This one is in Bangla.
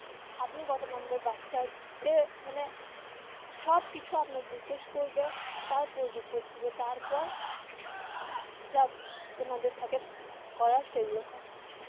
আপনি কত নম্বর বাচ্চায় এ মানে সব কিছু আপনার জিজ্ঞেস করবে তারপর report দিবে তারপর যা ওনাদের থাকে করার সেগুলো করে.